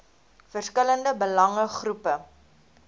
verskillende belange groepe